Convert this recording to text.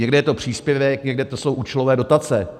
Někde je to příspěvek, někdo to jsou účelové dotace.